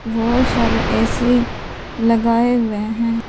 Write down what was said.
बहोत सारे ए_सी लगाए हुए हैं।